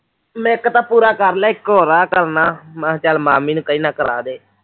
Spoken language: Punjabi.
ਮੈਂ ਇੱਕ ਤਾਂ ਪੂਰਾ ਕਰ ਲਿਆ ਇੱਕੋਂ ਰਾਹ ਕਰਨਾ ਮੈਂ ਕਿਹਾ ਚੱਲ ਮੰਮੀ ਨੂੰ ਕਹਿੰਦਾ ਕਰਾ ਦੇ